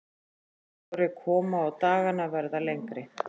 Að sjá vorið koma og dagana verða lengri.